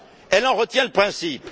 Elle en retient le principe.